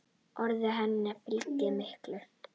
Orðum hennar fylgir mikill reykur.